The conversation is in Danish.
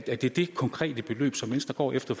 er det det konkrete beløb som venstre går efter